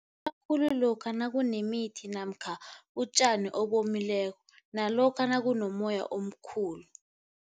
khulu lokha nakunemithi namkha utjani obomileko nalokha nakunomoya omkhulu.